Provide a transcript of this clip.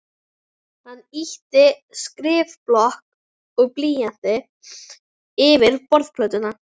Hann ýtti skrifblokk og blýanti yfir borðplötuna.